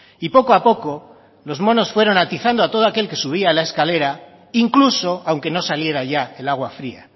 y poco a poco los monos fueron atizando a todo aquel que subía la escalera incluso aunque no saliera ya el agua fría